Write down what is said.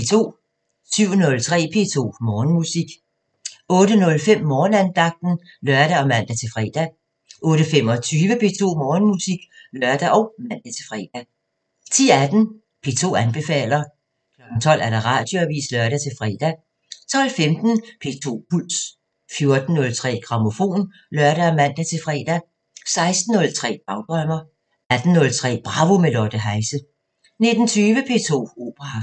07:03: P2 Morgenmusik 08:05: Morgenandagten (lør og man-fre) 08:25: P2 Morgenmusik (lør og man-fre) 10:18: P2 anbefaler 12:00: Radioavisen (lør-fre) 12:15: P2 Puls 14:03: Grammofon (lør og man-fre) 16:03: Dagdrømmer 18:03: Bravo – med Lotte Heise 19:20: P2 Operaaften